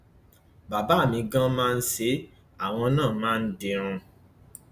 bàbá mi ganan máa ń ṣe é àwọn náà máa ń dirun